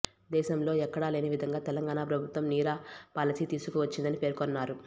దేశంలో ఎక్కడా లేని విధంగా తెలంగాణ ప్రభుత్వం నీరా పాలసీ తీసుకువచ్చిందని పేర్కొన్నారు